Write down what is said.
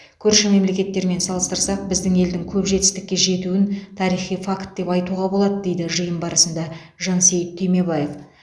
көрші мемлекеттермен салыстырсақ біздің елдің көп жетістікке жетуін тарихи факт деп айтуға болады деді жиын барысында жансейіт түймебаев